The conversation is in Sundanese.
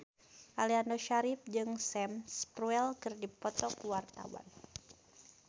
Aliando Syarif jeung Sam Spruell keur dipoto ku wartawan